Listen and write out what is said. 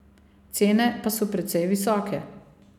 Cene pa so precej visoke.